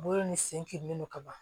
Bolo ni sen kirinen don ka ban